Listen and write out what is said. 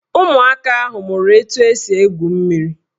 Ụmụaka ahụ mụrụ etu esi egwu mmiri